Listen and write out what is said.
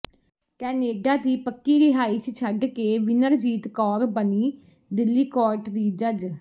Canada ਦੀ ਪੱਕੀ ਰਿਹਾਇਸ਼ ਛੱਡ ਕੇ ਵਿਨਰਜੀਤ ਕੌਰ ਬਣੀ ਦਿੱਲੀ ਕੋਰਟ ਦੀ ਜੱਜ